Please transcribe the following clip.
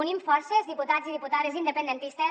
unim forces diputats i diputades independentistes